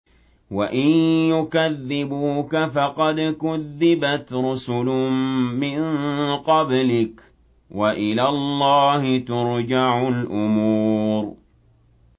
وَإِن يُكَذِّبُوكَ فَقَدْ كُذِّبَتْ رُسُلٌ مِّن قَبْلِكَ ۚ وَإِلَى اللَّهِ تُرْجَعُ الْأُمُورُ